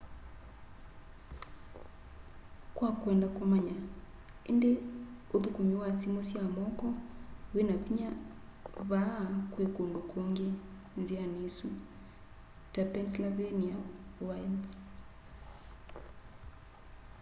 kwa kwenda kũmanya ĩndĩ ũthũkũmi wa simũ sya moko wĩna vinya vaa kwĩ kũndũ kũngĩ nziani ĩsu ta pennsylvania wilds